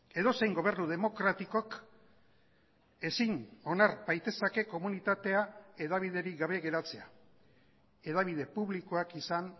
edozein gobernu demokratikok ezin onar baitezake komunitatea hedabiderik gabe geratzea hedabide publikoak izan